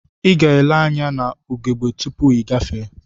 Iga ele anya na ugegbe tupu igafee.